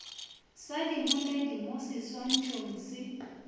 sa diboledi mo seswantšhong se